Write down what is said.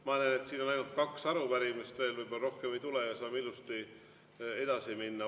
Ma näen, et siin on ainult kaks arupärimist veel, võib-olla rohkem ei tule ja saame ilusti edasi minna.